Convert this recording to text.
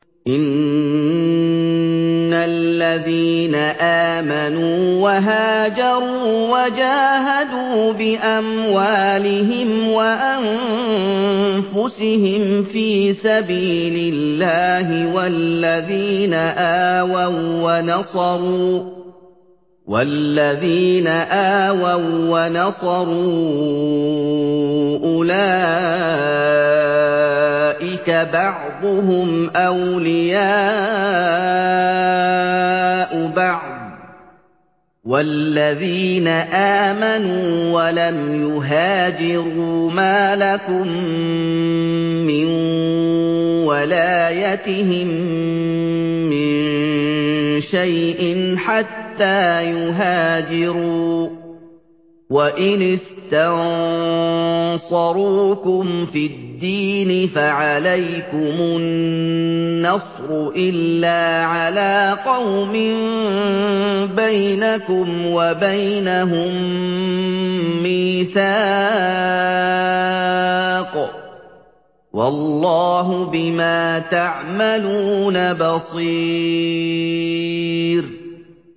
إِنَّ الَّذِينَ آمَنُوا وَهَاجَرُوا وَجَاهَدُوا بِأَمْوَالِهِمْ وَأَنفُسِهِمْ فِي سَبِيلِ اللَّهِ وَالَّذِينَ آوَوا وَّنَصَرُوا أُولَٰئِكَ بَعْضُهُمْ أَوْلِيَاءُ بَعْضٍ ۚ وَالَّذِينَ آمَنُوا وَلَمْ يُهَاجِرُوا مَا لَكُم مِّن وَلَايَتِهِم مِّن شَيْءٍ حَتَّىٰ يُهَاجِرُوا ۚ وَإِنِ اسْتَنصَرُوكُمْ فِي الدِّينِ فَعَلَيْكُمُ النَّصْرُ إِلَّا عَلَىٰ قَوْمٍ بَيْنَكُمْ وَبَيْنَهُم مِّيثَاقٌ ۗ وَاللَّهُ بِمَا تَعْمَلُونَ بَصِيرٌ